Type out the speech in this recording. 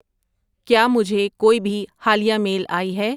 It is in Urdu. کیا مجھے کوئی بھی حالیہ میل آئی ہے